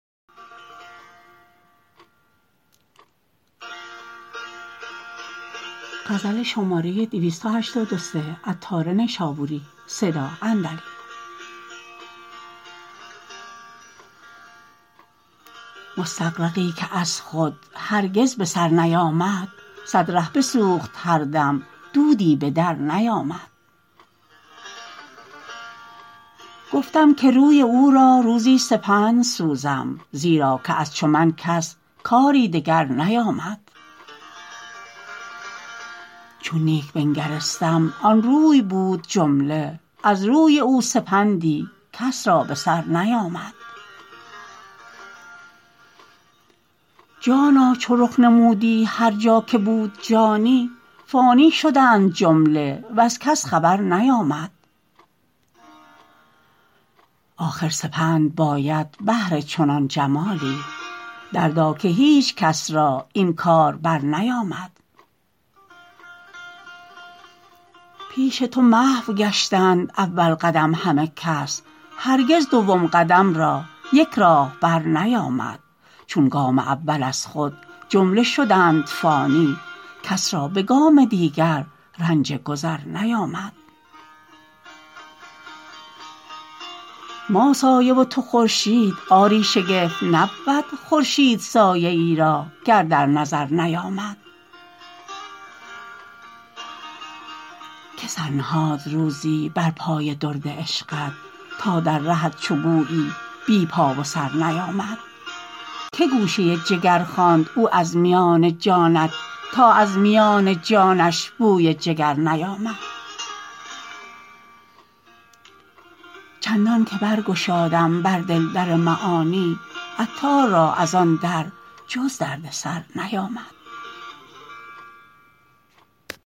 مستغرقی که از خود هرگز به سر نیامد صد ره بسوخت هر دم دودی به در نیامد گفتم که روی او را روزی سپند سوزم زیرا که از چو من کس کاری دگر نیامد چون نیک بنگرستم آن روی بود جمله از روی او سپندی کس را به سر نیامد جانان چو رخ نمودی هرجا که بود جانی فانی شدند جمله وز کس خبر نیامد آخر سپند باید بهر چنان جمالی دردا که هیچ کس را این کار برنیامد پیش تو محو گشتند اول قدم همه کس هرگز دوم قدم را یک راهبر نیامد چون گام اول از خود جمله شدند فانی کس را به گام دیگر رنج گذر نیامد ما سایه و تو خورشید آری شگفت نبود خورشید سایه ای را گر در نظر نیامد که سر نهاد روزی بر پای درد عشقت تا در رهت چو گویی بی پا و سر نیامد که گوشه جگر خواند او از میان جانت تا از میان جانش بوی جگر نیامد چندان که برگشادم بر دل در معانی عطار را از آن در جز دردسر نیامد